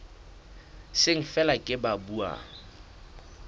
seng feela ke ba buang